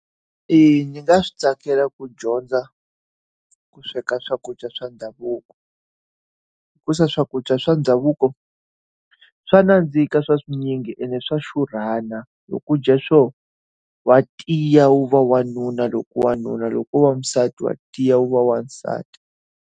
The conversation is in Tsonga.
Eya, ni nga swi tsakela ku dyondza ku sweka swakudya swa ndhavuko. Hikuva swakudya swa ndhavuko swa nandzika swa swinyingi ene swa xurhisa. loko u dya swona, wa tiya u va wanuna loko u ri wanuna loko u ri wasati wa tiya u va wasati.